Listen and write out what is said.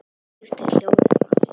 Og svo skiptir hljóðið máli.